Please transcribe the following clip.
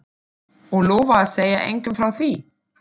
Og lofa að segja engum frá því?